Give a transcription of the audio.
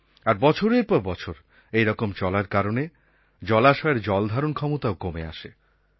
আর বছরের পর বছর এইরকম চলার কারণে জলাশয়ের জল ধারণ ক্ষমতাও কমে আসে